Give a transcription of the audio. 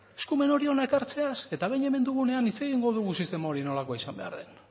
eskumen hori hona ekartzeaz eta behin hemen dugunean hitz egingo dugu sistema hori nolakoa izan behar den